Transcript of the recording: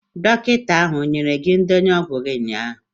Dọkịta ahụ o nyere gị ndenye ọgwụ gi ụnyaahụ?